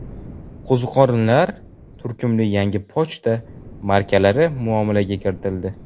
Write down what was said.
Qo‘ziqorinlar” turkumli yangi pochta markalari muomalaga kiritildi.